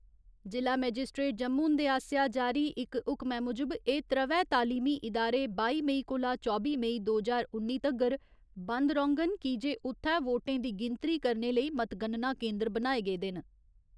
जि'ला मेजिस्ट्रेट जम्मू हुंदे आसेआ जारी इक हुक्मै मुजब एह् त्र'वै तालीमी इदारे बाई मई कोला चौबी मई दो ज्हार उन्नी तगर बंद रौंङन की जे उ'त्थै वोटें दी गिनतरी करने लेई मतगणना केन्दर बनाए गेदे न।